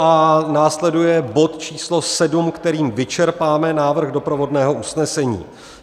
A následuje bod číslo 7, kterým vyčerpáme návrh doprovodného usnesení.